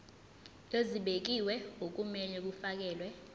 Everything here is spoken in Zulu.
ezibekiwe okumele kufakelwe